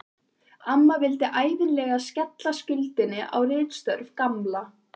Amma vildi ævinlega skella skuldinni á ritstörf Gamla.